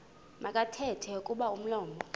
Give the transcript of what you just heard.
makathethe kuba umlomo